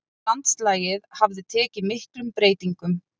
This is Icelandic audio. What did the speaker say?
Landslagið hafði tekið miklum breytingum.